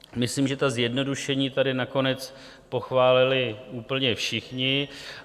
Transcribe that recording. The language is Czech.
Myslím, že ta zjednodušení tady nakonec pochválili úplně všichni.